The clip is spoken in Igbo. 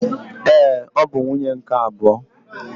Ee, ọ bụ nwunye nke abụọ